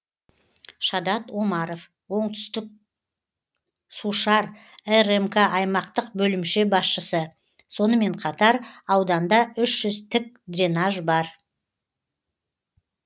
шадат омаров оңтүстіксушар рмк аймақтық бөлімше басшысы сонымен қатар ауданда үш жүз тік дренаж бар